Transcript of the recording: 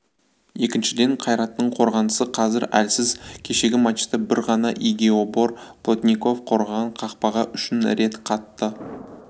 екіншіден қайраттың қорғанысы қазір әлсіз кешегі матчта бір ғана игиебор плотников қорғаған қақпаға үш рет қатты